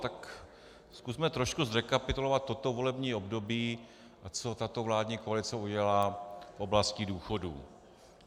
Tak zkusme trošku zrekapitulovat toto volební období, a co tato vládní koalice udělala v oblasti důchodů.